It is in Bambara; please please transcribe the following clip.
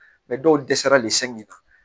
dɔw dɛsɛra le sɛgɛn na